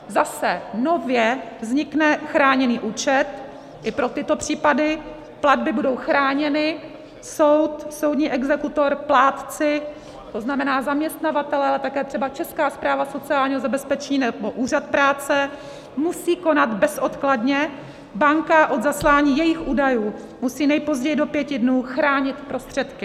Zase, nově vznikne chráněný účet i pro tyto případy, platby budou chráněny, soud, soudní exekutor, plátci, to znamená, zaměstnavatelé, ale také třeba Česká správa sociálního zabezpečení nebo úřad práce musí konat bezodkladně, banka od zaslání jejich údajů musí nejpozději do pěti dnů chránit prostředky.